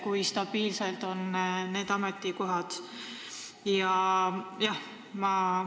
Kui stabiilsed need ametikohad on?